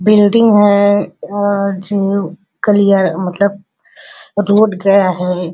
Building है। अह मतलब रोड गया है।